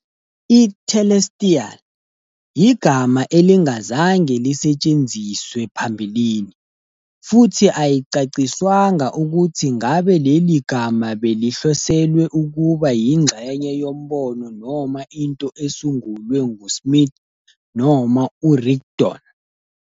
I- "Telestial" yigama elingazange lisetshenziswe phambilini, futhi ayicaciswanga ukuthi ngabe leli gama belihloselwe ukuba yingxenye yombono noma into esungulwe nguSmith noma uRigdon.